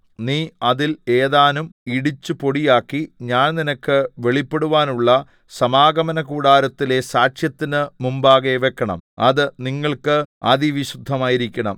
നീ അതിൽ ഏതാനും ഇടിച്ചു പൊടിയാക്കി ഞാൻ നിനക്ക് വെളിപ്പെടുവാനുള്ള സമാഗമനകൂടാരത്തിലെ സാക്ഷ്യത്തിന് മുമ്പാകെ വെക്കണം അത് നിങ്ങൾക്ക് അതിവിശുദ്ധമായിരിക്കണം